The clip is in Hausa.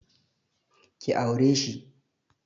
Ki aure shi!